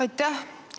Aitäh!